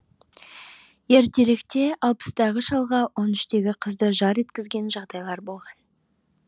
ертеректе алпыстағы шалға он үштегі қызды жар еткізген жағдайлар болған